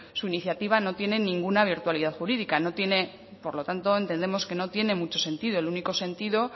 su iniciativa no tiene ninguna virtualidad jurídica por lo tanto entendemos que no tiene mucho sentido el único sentido